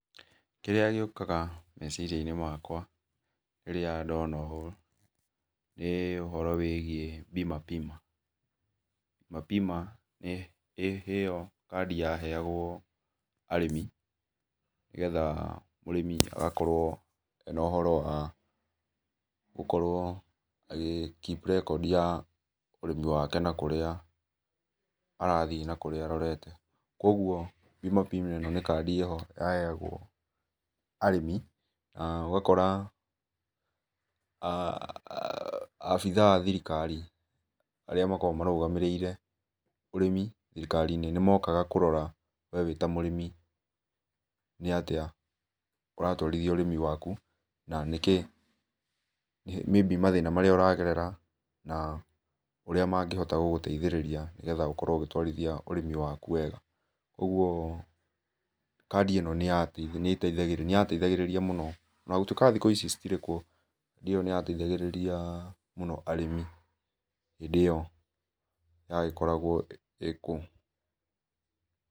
Kĩrĩa gĩũkaga mecirĩa inĩ makwa rĩrĩa ndona ũ nĩ ũhoro wĩgĩe Bima Pima. Bima Pima nĩ ĩyo kadĩ yaheagwo arĩmi nĩ getha mũrĩmi agakorwo ena ũhoro wa gũkorwo agi keep record ya ũrĩmi yake na kũrĩa arathĩ na kũrĩa arorete. Kwogwo Bima Pima ĩno nĩ cadi ĩho yaheagwo arĩmi na ũgakora na abĩthaa a thĩrĩkarĩ arĩa makoragwo marũgamĩrĩrĩe ũrĩmĩ thĩrĩkarĩ inĩ, nĩmokaga kũrora we wĩ ta mũrĩmi nĩ atĩa ũratwarĩthĩa ũrĩmi wakũ na nĩkĩ maybe mathĩna marĩa ũragerera, na ũrĩa magĩhota gũkũteithĩrĩria nĩ getha ũkorwo ũgĩtwarithĩa ũrĩmi wakũ wega. Ũgũo cadi ĩno nĩyateithagĩrĩria mũno ona gũtũĩka thĩkũ ici citĩrekwo cadĩ ĩyo nĩyateithagĩrĩrĩa mũno arĩmi hĩndĩ ĩyo yagĩkoragwo ĩkũo.